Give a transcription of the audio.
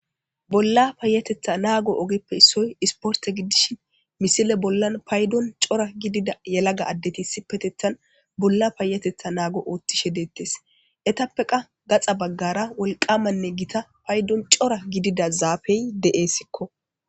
Bolla payatetha naago ogeppe issoy isporte giddishin misile bollan paydon cora gidida yalaga addeti sipetethan bolla payatetha naago oottishe deettes etappe qa gaxa baggara wolqamanne gita paydon cora gidida zaafey de'eessikko.